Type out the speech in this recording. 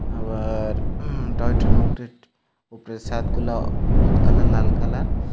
আবার উম টয় ট্রেনের উপরের সাদগুলা হলুদ কালার লাল কালার ।